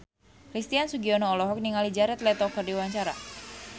Christian Sugiono olohok ningali Jared Leto keur diwawancara